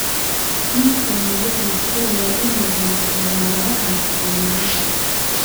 Ninkani wuxuu jecel yahay inuu cuno khudradaha caleemaha.